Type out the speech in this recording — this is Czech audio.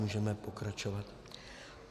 Můžeme pokračovat.